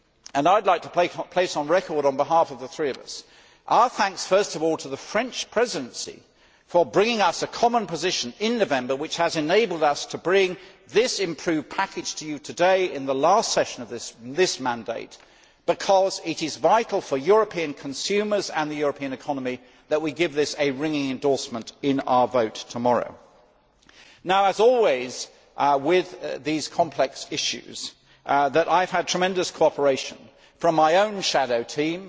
I would like to place on record, on behalf of the three of us, our thanks to the French Presidency for bringing us a common position in November which has enabled us to bring this improved package to you today in the last session of this mandate, because it is vital for European consumers and the European economy that we give this a ringing endorsement in our vote tomorrow. As always with these complex issues, I have had tremendous cooperation from my own shadow team